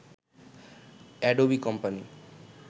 Adobe company